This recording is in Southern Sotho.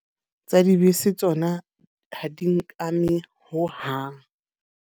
Tsa dibese tsona ha di nkame hohang.